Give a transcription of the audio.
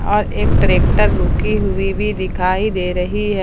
और एक ट्रैक्टर रुकी हुई भी दिखाई दे रही है।